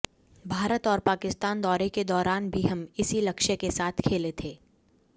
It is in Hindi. भारत और पाकिस्तान दौरे के दौरान भी हम इसी लक्ष्य के साथ खेले थे